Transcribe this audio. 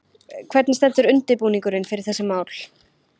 Hvernig stendur undirbúningurinn fyrir þessi mál?